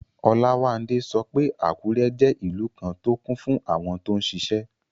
Olawande sọ pé Àkúrẹ́ jẹ́ ìlú kan tó kún fún àwọn tó n ṣiṣẹ́